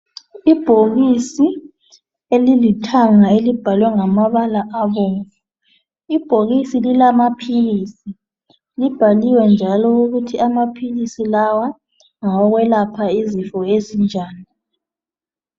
Ibhokisi elilithanga elibhalwe ngamabala abomvu .lbhokisi lilamaphilisi libhaliwe njalo ukuthi amaphilisi lawa ngawokwelapha izifo ezinjani.